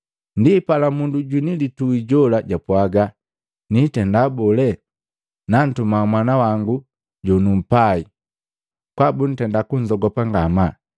Ndipala mundu jwini litui jola japwaaga, ‘Niitenda bole? Nantuma mwana wangu jonumpai, kwaa buntenda kunzogopa ngamaa.’